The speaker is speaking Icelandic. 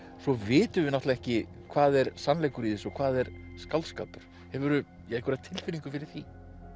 svo vitum við náttúrulega ekki hvað er sannleikur í þessu og hvað er skáldskapur hefurðu einhverja tilfinningu fyrir því